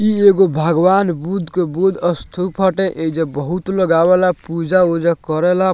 ई एगो भगवान बुद्ध के बुद्ध स्तूप हटे एइजा बहुत लोग आवेला पुजा-उजा करेला।